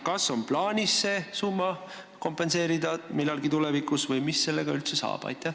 Kas on plaanis see summa millalgi tulevikus kompenseerida või mis sellega üldse saab?